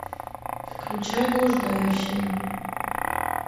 включай блуждающие